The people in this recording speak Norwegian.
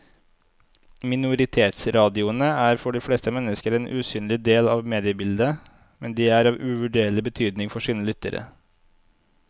Minoritetsradioene er for de fleste mennesker en usynlig del av mediebildet, men de er av uvurderlig betydning for sine lyttere.